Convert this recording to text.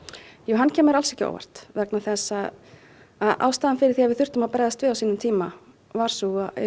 hann kemur alls ekki á óvart vegna þess að ástæða þess að við þurftum að bregðast við á sínum tíma var sú að